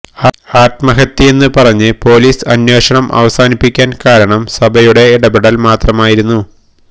ആത്മഹത്യയെന്ന് പറഞ്ഞ് പൊലീസ് അന്വേഷണം അവസാനിപ്പിക്കാന് കാരണം സഭയുടെ ഇടപ്പെടല് മാത്രമായിരുന്നു